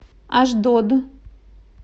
ашдод